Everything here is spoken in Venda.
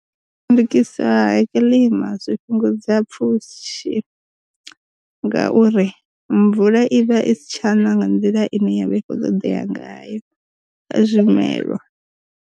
Ndukisa ha kiḽima zwi fhungudza pfhushi ngauri, mvula i vha i si tsha na nga nḓila ine yavha i kho ṱoḓea ngayo kha zwimelwa.